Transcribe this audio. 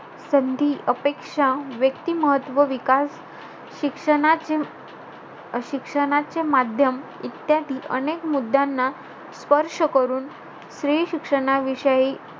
संधी, अपेक्षा, व्यक्तीमहत्व, विकास, शिक्षणाचे~ शिक्षणाचे माध्यम इत्यादी अनेक मुद्द्यांना स्पर्श करून, स्त्री शिक्षणाविषयी,